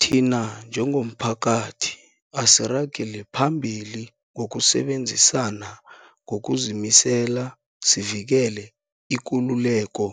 Thina njengomphakathi, asiragele phambili ngokusebenzisana ngokuzimisela sivikele ikululeko